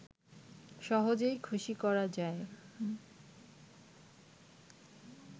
সহজেই খুশি করা যায়